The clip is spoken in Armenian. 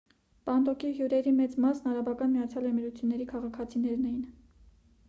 պանդոկի հյուրերի մեծ մասն արաբական միացյալ էմիրությունների քաղաքացիներ էին